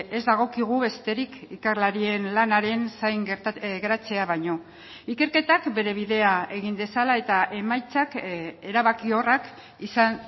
ez dagokigu besterik ikerlarien lanaren zain geratzea baino ikerketak bere bidea egin dezala eta emaitzak erabakiorrak izan